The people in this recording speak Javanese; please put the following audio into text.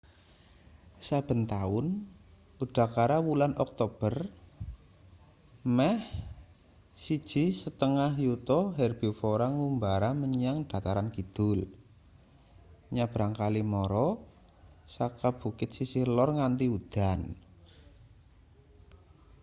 saben taun udakara wulan oktober meh 1,5 yuta herbivora ngumbara menyang dataran kidul nyabrang kali mara saka bukit sisih lor nganti udan